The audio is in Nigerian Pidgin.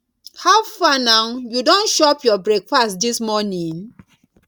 how far now you don chop your breakfast this morning